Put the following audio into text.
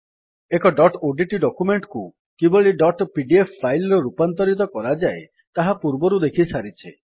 ଏକ dot ODT document କୁ କିଭଳି ଡଟ୍ ପିଡିଏଫ୍ ଫାଇଲ୍ ରେ ରୂପାନ୍ତରିତ କରାଯାଏ ତାହା ପୂର୍ବରୁ ଦେଖିସାରିଛେ